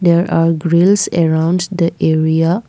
there are grills around the area.